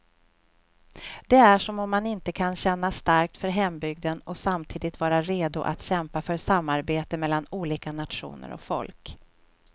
Det är som om man inte kan känna starkt för hembygden och samtidigt vara redo att kämpa för samarbete mellan olika nationer och folk.